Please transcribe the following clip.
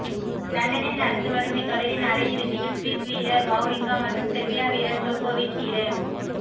லண்டனில் நடந்து வரும் இத்தொடரின் அரை இறுதியில் சுவிஸ் வீரர் வாவ்ரிங்கா மற்றும் செர்பிய வீரர் ஜோகோவிச் இரு